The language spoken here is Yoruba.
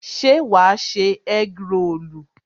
se wà ṣe egg rolu?